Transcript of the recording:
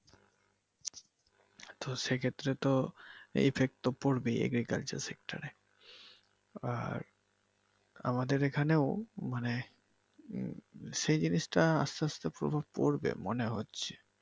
তো সেই ক্ষেত্রে তো effect তো পরবেই এই agriculture sector এ আর আমাদের এইখানেও মানে সেই জিনিসটা আস্তে আস্তে প্রভাব পরবে মনে হচ্ছে।